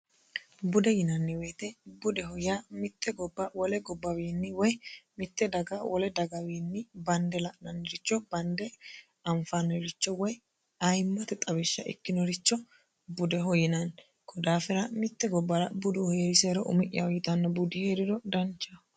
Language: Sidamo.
bude yinanni woyite budeho yaa mitte gobba wole gobbawi woy mitte daga wole dagawiinni bande la'nanniricho bande anffannirichoayimmate xawishsha ikkinorichobudeho yinanni kunni daafira budu heerisero umi'yaho yitanno budi heeriro danchaho